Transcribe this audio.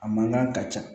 A mankan ka ca